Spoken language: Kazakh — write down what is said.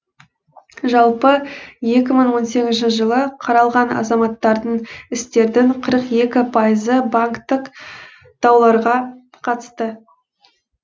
жалпы екі мың он сегізінші жылы қаралған азаматтардың істердің қырық екі пайызы банктік дауларға қатысты